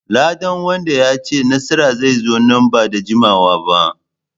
Ladan wanda ya ci nasara zai zo nan ba da jimawa ba.